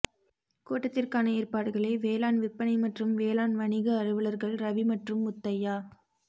கூட்டத்திற்கான ஏற்பாடுகளை வேளாண் விற்பனை மற்றும் வேளாண் வணிக அலுவலர்கள் ரவி மற்றும் முத்தையா